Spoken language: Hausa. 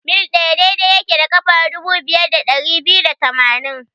mil ɗaya daidai yake da ƙafa dubu biyar da dari biyu da tamaini.